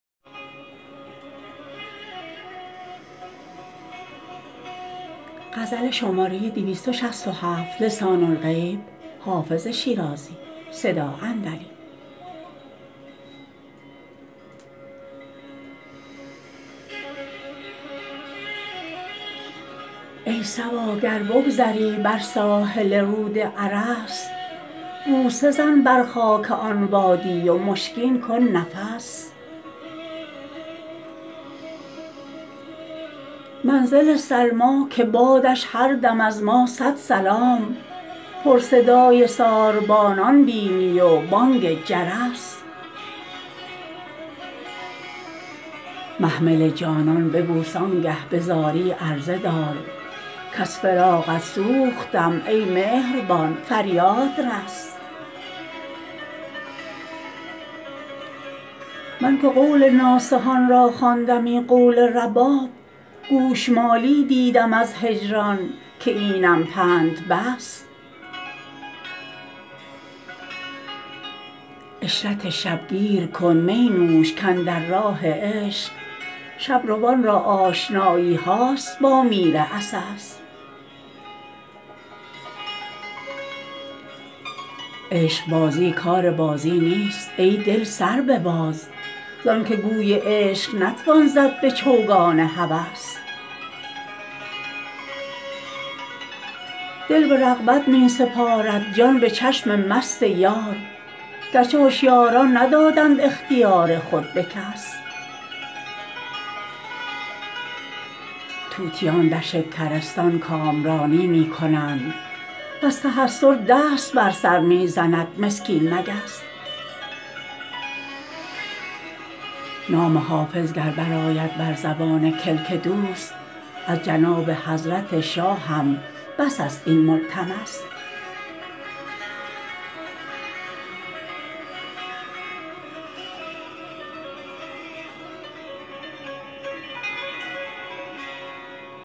ای صبا گر بگذری بر ساحل رود ارس بوسه زن بر خاک آن وادی و مشکین کن نفس منزل سلمی که بادش هر دم از ما صد سلام پر صدای ساربانان بینی و بانگ جرس محمل جانان ببوس آن گه به زاری عرضه دار کز فراقت سوختم ای مهربان فریاد رس من که قول ناصحان را خواندمی قول رباب گوش مالی دیدم از هجران که اینم پند بس عشرت شب گیر کن می نوش کاندر راه عشق شب روان را آشنایی هاست با میر عسس عشق بازی کار بازی نیست ای دل سر بباز زان که گوی عشق نتوان زد به چوگان هوس دل به رغبت می سپارد جان به چشم مست یار گر چه هشیاران ندادند اختیار خود به کس طوطیان در شکرستان کامرانی می کنند و از تحسر دست بر سر می زند مسکین مگس نام حافظ گر برآید بر زبان کلک دوست از جناب حضرت شاهم بس است این ملتمس